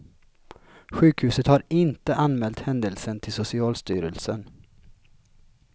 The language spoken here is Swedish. Sjukhuset har inte anmält händelsen till socialstyrelsen.